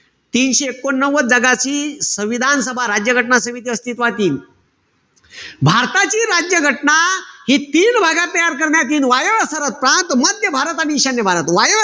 तीनशे एकोणनव्वद जागाची, संविधान सभा, राज्य घटना समिती अस्तित्वात येईल. भारताची राज्य घटना हि तीन भागात तयार करण्यात यील. वायव्य सरहद प्रांत, मध्य भारत आणि ईशान्य भारत. वायव्य